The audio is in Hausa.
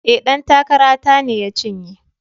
E, ɗan takara ta ne ya cinye.